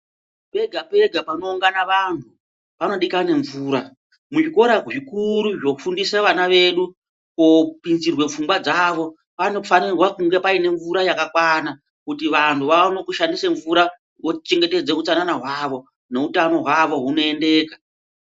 Pega pega pano ungana vantu pano dikane mvura mu zvikora zvikuru zvo fundisa vana vedu ko pinzerwe pfungwa dzawo panofanirwa kunge paine mvura yakakwana kuti vantu vaone kushandise mvura vo chengetedze utsanana hwawo no utano hwawo huno endeka.